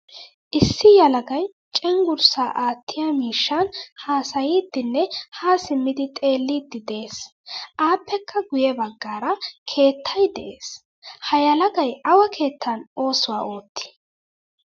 Issi yelagay cenggurssa aattiyaa miishshan haasayidine ha simmidi xeelidi de'ees. Appekka guye baggaara keettay de'ees. Ha yelagay awa keettan oosuwaa ootti?